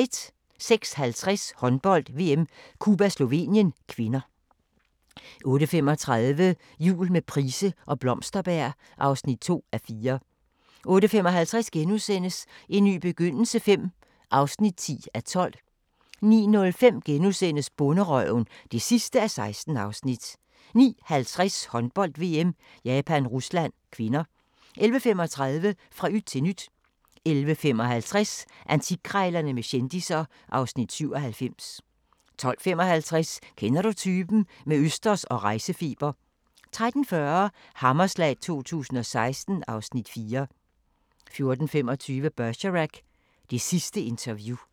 06:50: Håndbold: VM - Cuba-Slovenien (k) 08:35: Jul med Price og Blomsterberg (2:4) 08:55: En ny begyndelse V (10:12)* 09:05: Bonderøven (16:16)* 09:50: Håndbold: VM - Japan-Rusland (k) 11:35: Fra yt til nyt 11:55: Antikkrejlerne med kendisser (Afs. 97) 12:55: Kender du typen? – med østers og rejsefeber 13:40: Hammerslag 2016 (Afs. 4) 14:25: Bergerac: Det sidste interview